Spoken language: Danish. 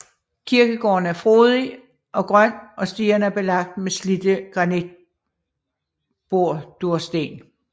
Kirkegården er frodig og grøn og stierne er belagt med slidte granitbordursten